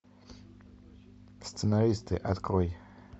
сценаристы открой